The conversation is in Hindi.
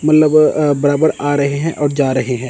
मतलब अह बराबर आ रहे हैं और जा रहे हैं।